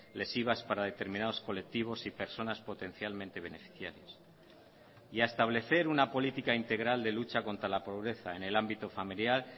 lesivas para determinados colectivos y personas potencialmente beneficiarias y a establecer una política integral de lucha contra la pobreza en el ámbito familiar